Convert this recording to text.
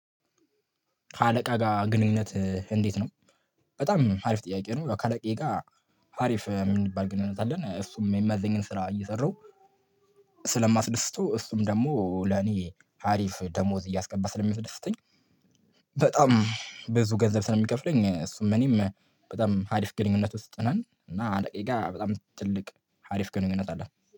ከአለቃ ጋር ግንኙነት እንዴት ነው? በጣም አሪፍ ጥያቄ ነው ከአለቃዬ ጋር አሪፍ ምን የሚባል ግንኙነት አለን እሱም የሚያዝዘኝን ስራ እየሰራሁ ስለማስደስተው እሱም ደግሞ ለኔ አሪፍ ደሞዝ እያስገባ ስለሚደስተኝ በጣም ብዙ ገንዘብ ስለሚከፍለኝ እሱም እኔም በጣም አሪፍ ግንኙነት ውስጥ ነን እና አለቃዬ ጋ በጣም ትልቅ አሪፍ ግንኙነት አለን